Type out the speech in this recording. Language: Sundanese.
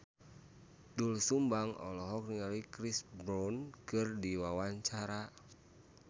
Doel Sumbang olohok ningali Chris Brown keur diwawancara